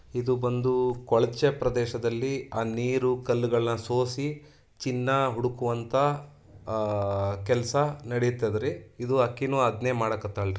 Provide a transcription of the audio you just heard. ಇದು ಬಂದು ಕೊಳಚೆ ಪ್ರದೇಶದಲ್ಲಿ ಆ ನೀರು ಕಲ್ಲುಗಳ ಸೋಸಿ ಚಿನ್ನ ಹುಡುಕುವಂತಹ ಅಹ್ ಕೆಲಸ ನಡಿತದ ರೀ ಇದು ಆಕೀನೂ ಅದ್ನೇ ಮಾಡಕತ್ತಾಳ ರೀ.